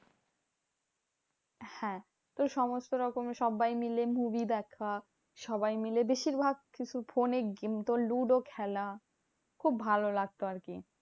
হ্যাঁ তো সমস্ত রকম সব্বাই মিলে movie দেখা। সবাই মিলে বেশিরভাগ ফোনে তোর লুডো খেলা। খুব ভালো লাগতো আরকি।